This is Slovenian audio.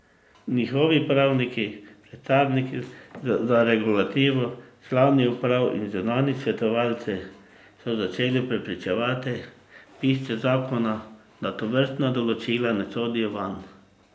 Njihovi pravniki, predstavniki za regulativo, člani uprav in zunanji svetovalci so začeli prepričevati pisce zakona, da tovrstna določila ne sodijo vanj.